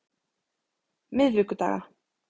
miðvikudaga